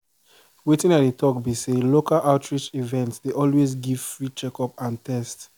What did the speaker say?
wetin i dey talk be say local outreach events dey always give free checkup and test